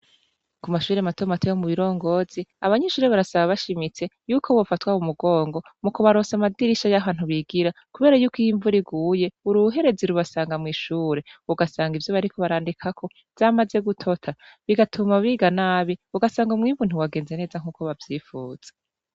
kumashure matomato yo mubirongozi abanyeshure barasaba bashimitse yuko bofatwa mu mugongo mukubaronsa amadirisha yahantu bigira kubera yuko iyo imvura iguye uruherezi rubasanga mw'ishure ugasanga ivyo bariko barandikakako vyamaze gutota bigatuma biga nabiugasanga umwimbu ntiwagenze neza nkuko bavyipfuza